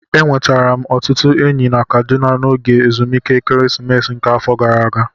E nwetara m ọtụtụ enyi na Kaduna n'oge ezumike ekeresimesi nke afọ gara ágá